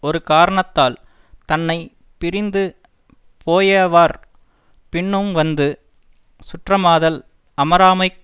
ஒரு காரணத்தால் தன்னை பிரிந்து போயவர் பின்னும் வந்து சுற்றமாதல் அமராமைக்